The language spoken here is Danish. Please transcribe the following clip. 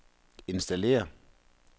installér